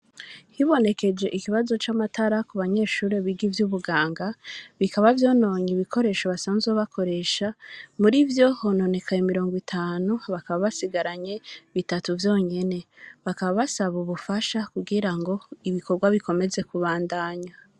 Hibonekeje ikibazo ca matara ku banyeshuri biga ivyubuganga bikaba vyononye ibikoresho basanzwe bakoresha murivyo hononekaye miringo itanu bakaba basigaranye bitatu vyonyene bakaba basaba ubufasha kugirango ibikorwa bikomeze ku bandanya.